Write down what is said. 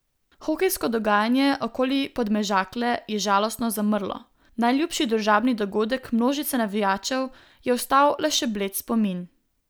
Hokejsko dogajanje okoli Podmežakle je žalostno zamrlo, najljubši družabni dogodek množice navijačev je ostal le še bled spomin.